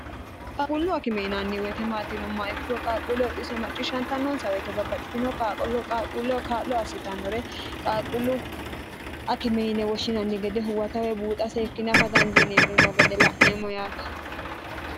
qaaqullu akime maati yineemmo woyite maatinomma ikkiro qaaqquulle oxiso macciishshantannonsa woyite babbaxxitino qaqooqaaquulleho kaa'lo assitannore qaaqullu akimeine woshshinanni gede huwatawe buuxa seekkine afa dandiineemmirino gede la'neemmo yaate